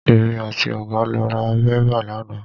Èmi àti ọ̀gá lọ ra bébà lánàá.